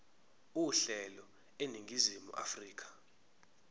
uhlelo eningizimu afrika